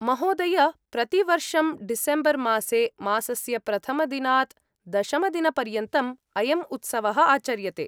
महोदय, प्रतिवर्षं डिसेम्बर्मासे, मासस्य प्रथमदिनात् दशमदिनपर्यन्तम् अयं उत्सवः आचर्यते।